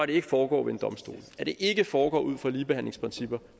det ikke foregår ved en domstol at det ikke foregår ud fra ligebehandlingsprincipper